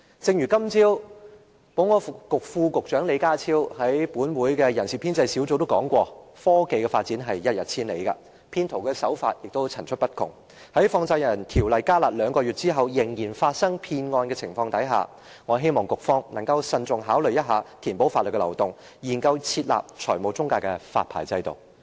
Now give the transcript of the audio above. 正如今早保安局副局長李家超先生在本會的人事編制小組委員會提到，科技發展一日千里，騙徒手法更是層出不窮，在《放債人條例》"加辣"兩個月後仍然發生騙案的情況下，我希望局方能慎重考慮填補法律漏洞，研究設立財務中介的發牌制度。